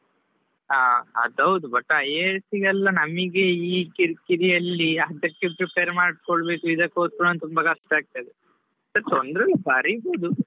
ಹಾ ಅದ್ ಹೌದು but IAS ಗೆಲ್ಲಾ ನಮಿಗೆ ಈ ಕಿರಿಕಿರಿಯಲ್ಲಿ ಅದಕ್ಕೆ prepare ಮಾಡಿಕೊಳ್ಳಬೇಕು ಇದಕ್ಕೆ ಓದ್ಕೊಳ್ಬೇಕು ತುಂಬಾ ಕಷ್ಟ ಆಗ್ತದೆ, ತೊಂದರೆ ಇಲ್ಲಾ ಬರಿಬೋದು.